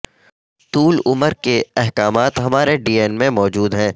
طول عمر کے احکامات ہمارے ڈی این میں موجود ہیں